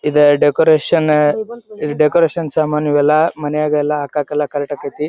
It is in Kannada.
ಈದ್ ಡೆಕೋರೇಷನ್ ಈ ಡೆಕೋರೇಷನ್ ಸಾಮಾನ್ ಇವೆಲ್ಲಾ ಮನ್ಯಾಗ್ ಎಲ್ಲಾ ಹಾಕಕ್ ಎಲ್ಲಾ ಕರೆಕ್ಟ್ ಆಕತ್ತಿ .